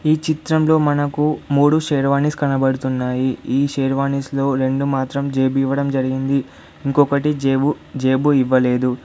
ఈ చిత్రం లో మనకు మూడు షేర్వాణీస్ కనబడుతున్నాయి. ఈ షేర్వాణీస్ లో రెండు మాత్రం జేబు ఇవ్వడం జరిగింది ఇంకొకటి జేబు జేబు ఇవ్వలేదు.